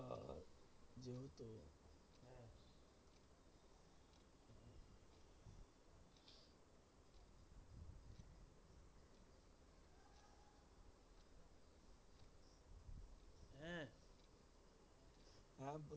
হ্যাঁ?